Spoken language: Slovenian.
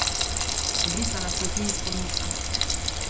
Obrisala si je kri izpod nosa.